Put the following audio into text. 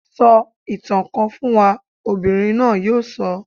Sọ ìtàn kan fún wa! Ọmọbìnrin náà yóò sọ.